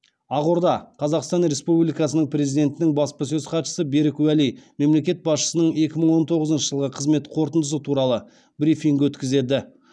ақордада қазақстан республикасының президентінің баспасөз хатшысы берік уәли мемлекет басшысының екі мың он тоғызыншы жылғы қызмет қорытындысы туралы брифинг өткізеді